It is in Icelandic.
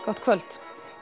gott kvöld